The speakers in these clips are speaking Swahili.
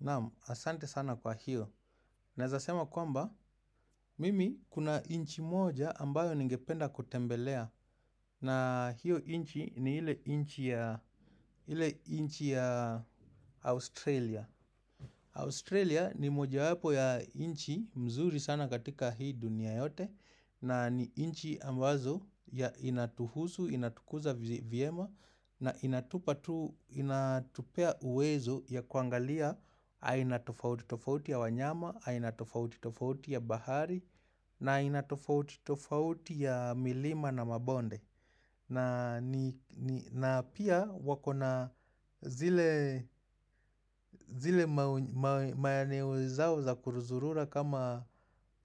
Naam, asante sana kwa hiyo. Naezasema kwamba, mimi kuna nchi moja ambayo ningependa kutembelea. Na hiyo nchi ni ile nchi ya Australia. Australia ni moja wapo ya nchi mzuri sana katika hii dunia yote. Na ni nchi ambazo inatuhusu, inatukuza vyema. Na inatupatu, inatupea uwezo ya kuangalia, aina tofauti tofauti ya wanyama, aina tofauti tofauti ya bahari, na ina tofauti tofauti ya milima na mabonde. Na ni na pia wakona zile zile maeneo zao za kuruzurura kama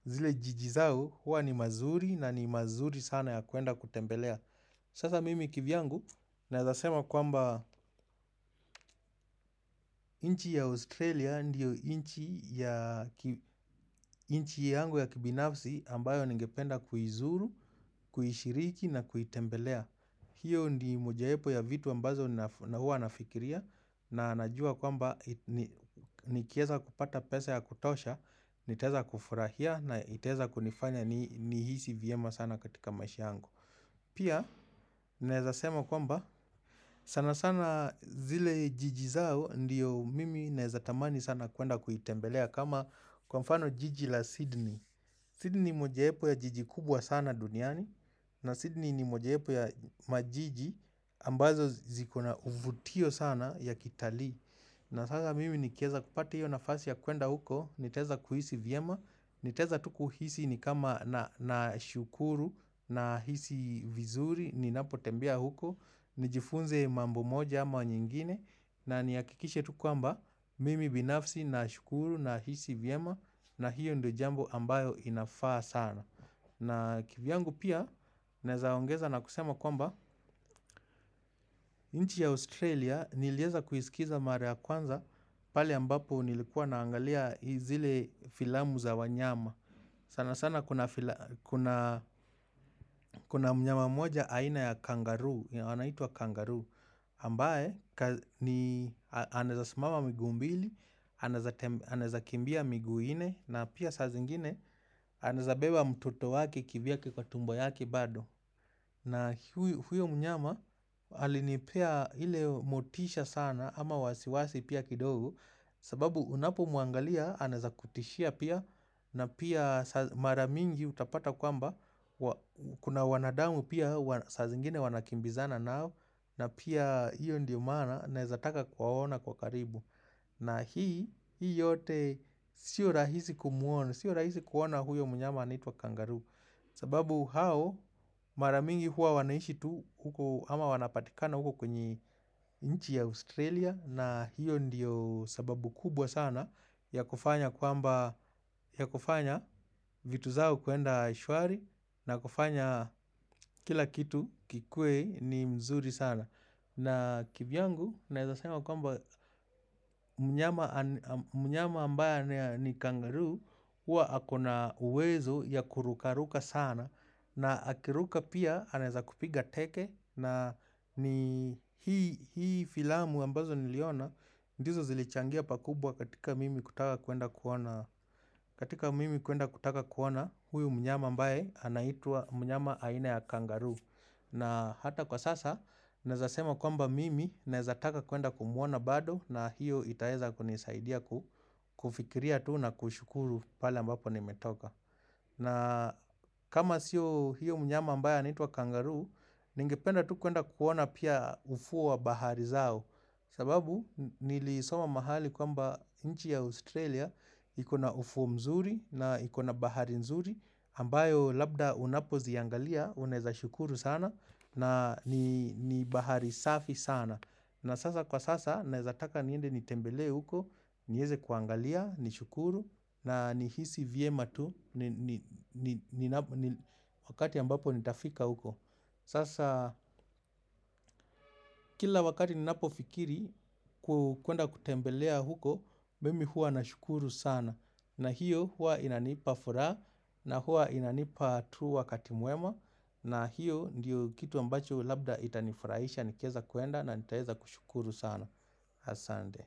zile jiji zao, huwa ni mazuri na ni mazuri sana ya kuenda kutembelea. Sasa mimi kivyangu naezasema kwamba nchi ya Australia ndiyo nchi ya nchi yangu ya kibinafsi ambayo ningependa kuizuru, kuishiriki na kuitembelea. Hiyo ndi mojaepo ya vitu ambazo huwa nafikiria na najua kwamba nikieza kupata pesa ya kutosha, nitaeza kufurahia na itaeza kunifanya nihisi vyema sana katika maisha yangu. Pia naezasema kwamba sana sana zile jiji zao ndiyo mimi naezatamani sana kwenda kuitembelea kama kwa mfano jiji la Sydney. Sydney ni mojaepo ya jiji kubwa sana duniani na Sydney ni mojaepo ya majiji ambazo ziko na uvutio sana ya kitali. Na sasa mimi nikieza kupata hiyo nafasi ya kuenda huko, nitaeza kuhisi vyema, nitaeza tu kuhisi nikama nashukuru nahisi vizuri, ninapo tembea huko, nijifunze mambo moja ama nyingine, na nihakikishe tu kwamba mimi binafsi nashukuru nahisi vyema, na hiyo ndio jambo ambayo inafaa sana. Na kivyangu pia, naeza ongeza na kusema kwamba, nchi ya Australia nilieza kuisikiza mara ya kwanza pale ambapo nilikuwa naangalia zile filamu za wanyama. Sana sana kuna mnyama mmoja aina ya kangaroo, anaitwa kangaroo, ambaye ni anaeza simama miguu mbili, anaezakimbia miguu nne, na pia saa zingine anaeza beba mtoto wake kivyake kwa tumbo yake bado. Na huyo mnyama alinipea ile motisha sana ama wasiwasi pia kidogo sababu unapo mwangalia anaeza kutishia pia na pia mara mingi utapata kwamba Kuna wanadamu pia sazingine wanakimbizana nao na pia hiyo ndio maana naezataka kuwaona kwa karibu na hii, hii yote sio rahisi kumuona Sio rahisi kuona huyo mnyama anitwa kangaroo sababu hao maramingi huwa wanaishi tu huko ama wanapatikana huko kwenye nchi ya Australia na hiyo ndiyo sababu kubwa sana ya kufanya kwamba ya kufanya vitu zao kuenda shwari na kufanya kila kitu kikue ni mzuri sana na kivyangu naezasema kwamba mnyama ambaye ni kangaroo huwa akona uwezo ya kurukaruka sana na akiruka pia anaeza kupiga teke na ni hii filamu ambazo niliona ndizo zilichangia pakubwa katika mimi kutaka kuenda kuona katika mimi kuenda kutaka kuona huyu mnyama ambaye anaitwa mnyama aina ya kangaroo na hata kwa sasa, naeza sema kwamba mimi naeza taka kuenda kumuona bado na hiyo itaeza kunisaidia kufikiria tu na kushukuru pale ambapo nimetoka na kama sio hiyo mnyama ambaya anaitwa kangaroo, nengependa tu kwenda kuona pia ufuo wa bahari zao. Sababu nilisoma mahali kwamba nchi ya Australia ikona ufuo mzuri na ikona bahari nzuri. Ambayo labda unapo ziangalia, unaeza shukuru sana na ni bahari safi sana. Na sasa kwa sasa naezataka niende nitembelee huko, nieze kuangalia, nishukuru, na nihisi vyema tu, ni Wakati ambapo nitafika huko. Sasa kila wakati ninapo fikiri kwenda kutembelea huko, mimi huwa nashukuru sana. Na hiyo huwa inanipa furaha, na huwa inanipa tu wakati mwema, na hiyo ndiyo kitu ambacho labda itanifurahisha, nikieza kuenda, na nitaeza kushukuru sana. Asande.